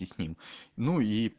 ну